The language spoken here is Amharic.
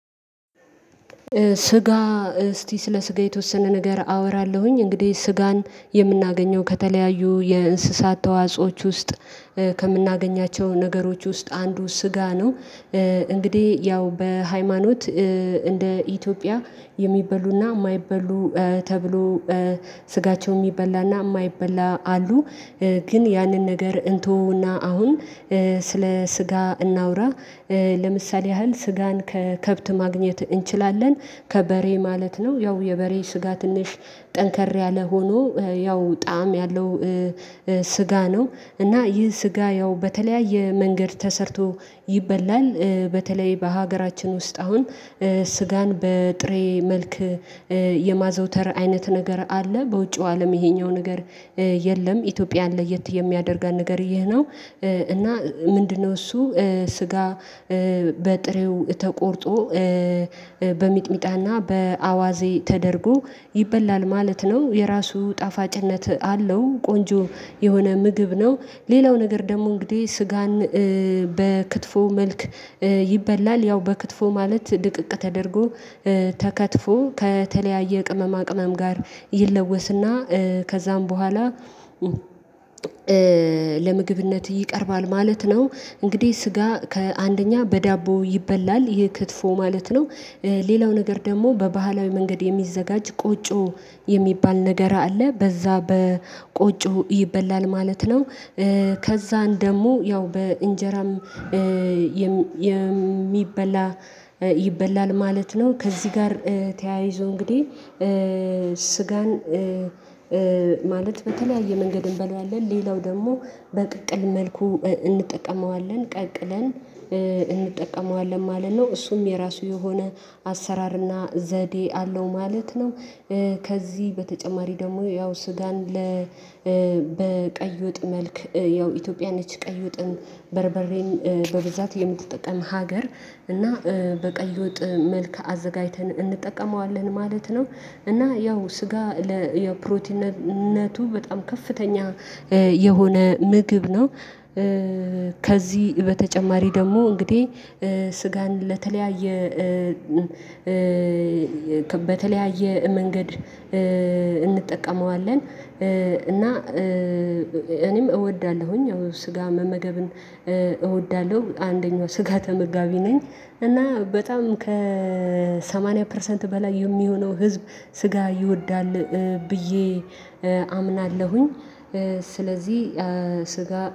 ስጋ እስቲ ስለ ስጋ የተወሰነ ነገር አወራለሁኝ እንግዲህ ስጋን የምናገኘው ከተለያዩ የእንስሳት ተዋጾዎች ውስጥ ከምናገኛቸው ነገሮች ውስጥ አንዱ ስጋ ነው። እንግዲህ ያው በሃይማኖት እንደ ኢትዮጵያ የሚበሉና የማይበሉ ተብሎ ስጋቸው የሚበላና የማይበላ አሉ። ግን ያንን ነገር እንተወውና አሁን ስለ ስጋ እናውራ ለምሳሌ ያህል ስጋን ከከብት ማግኘት እንችላለን ከበሬ ማለት ነው ያው የበሬ ስጋ ትንሽ ጠንከር ያለ ሆኖ ያው ጣዕም ያለው ስጋ ነው እና ይህ ስጋ ያው በተለያየ መንገድ ተሰርቶ ይበላል። በተለይ በሀገራችን ውስጥ አሁን ስጋን በጥሬ መልክ የማዘውተር አይነት ነገር አለ። በውጪው አለም ይሄኛው ነገር የለም ኢትዮጵያን ለየት የሚያደርጋን ነገር ይሄ ነው። እና ምንድነው እሱ ስጋ በጥሬው ተቆርጦ በሚጥሚጣና በአዋዜ ተደርጎ ይበላል ማለት ነው። የራሱ ጣፋጭነት አለው ቆንጆ የሆነ ምግብ ነው ሌላው ነገር ደግሞ እንግዲህ ስጋን በክትፎ መልክ ይበላል። ያው በክትፎ ማለት ድቅቅ ተደርጎ ተከትፎ ከተለያየ ቅመማ ቅመም ጋር ይለወስና ከዛም በኋላ ለምግብነት ይቀርባል ማለት ነው። እንግዲህ ስጋ አንደኛ በዳቦ ይበላል ይህ ክትፎ ማለት ነው። ሌላው ነገር ደግሞ በባህላዊ መንገድ የሚዘጋጅ ቆጮ የሚባል ነገር አለ በዛ በቆጮ ይበላል ማለት ነው። ከዛን ደግሞ ያው በእንጀራም የሚበላ ይበላል ማለት ነው። ከዚህ ጋር ተያይዞ እንግዲህ ስጋን ማለት በተለያየ መንገድ እንበለዋለን። ሌላው ደግሞ በቅቅል መልኩ እንጠቀመዋለን ቀቅለን እንጠቀመዋለን ማለት ነው። እሱም የራሱ የሆነ አሰራርና ዘዴ አለው ማለት ነው። ከዚህ በተጨማሪ ደግሞ ያው ሱዳን በወጥ መልክ ያው ኢትዮጵያ ነች ቀይ ወጥን በርበሬን በብዛት የምትጠቀም ሀገር እና በቀይ ወጥ መልከ አዘጋጅተን እንጠቀመዋለን ማለት ነው። እና ያው ስጋ ፕሮቲነቱ በጣም ከፍተኛ የሆነ ምግብ ነው። ከዚህ በተጨማሪ ደግሞ እንግዲህ ስጋን ለተለያየ በተለያየ መንገድ እንጠቀመዋለን እና እኔም እወዳለሁኝ። ያው ስጋ መመገብን እወዳለሁ አንደኛው ስጋ ተመጋቢ ነኝ እና በጣም ከሰማንያ ፐርሰንት በላይ የሚሆነው ህዝብ ስጋ ይወዳል ብዬ አምናለሁኝ። ስለዚህ ስጋ